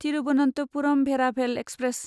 Thiruvananthapuram Veraval express